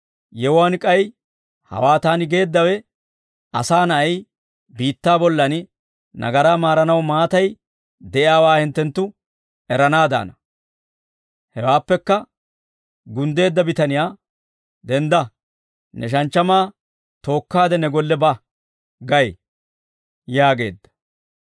Yewuwaan k'ay hawaa taani geeddawe, Asaa Na'ay biittaa bollan nagaraa maaranaw maatay de'iyaawaa hinttenttu eranaadana.» Hewaappekka gunddeedda bitaniyaa, «Dendda ne shanchchamaa tookkaade ne golle ba gay» yaageedda.